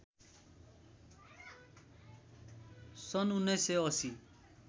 सन् १९८०